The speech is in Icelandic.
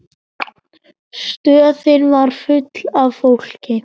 Stöðin var full af fólki.